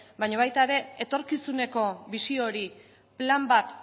baino baita ere etorkizuneko bisio hori plan bat